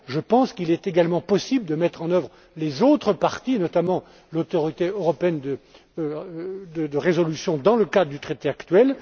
Je pense qu'il est également possible de mettre en œuvre les autres parties, notamment l'Autorité européenne de résolution dans le cadre du traité actuel.